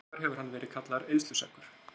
Hins vegar hefur hann verið kallaður eyðsluseggur